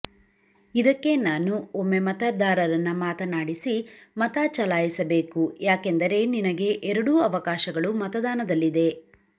ಇದಕ್ಕೆ ನಾನು ಒಮ್ಮೆ ಮತದಾರನನ್ನ ಮಾತನಾಡಿಸಿ ಮತಚಲಾಯಿಸಬೇಕು ಯಾಕೆಂದರೆ ನಿನಗೆ ಎರಡೂ ಅವಕಾಶಗಳು ಮತದಾನದಲ್ಲಿದೆ